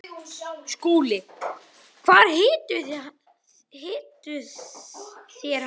SKÚLI: Hvar hittuð þér hann?